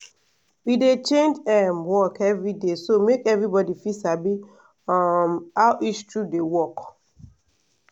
we dey change um work every day so make everybody fit sabi um how each tool dey work.